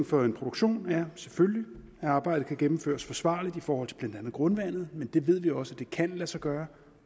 for en produktion er selvfølgelig at arbejdet kan gennemføres forsvarligt i forhold til blandt andet grundvandet men det ved vi også kan lade sig gøre